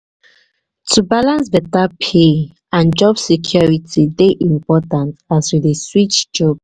to balance beta pay and job security dey important as um we um dey switch jobs. um